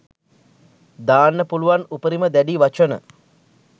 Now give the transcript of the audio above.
දාන්න පුළුවන් උපරිම දැඩි වචන